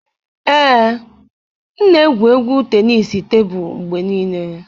Ee, m na-egwu égwù tenisii tebụl mgbe niile.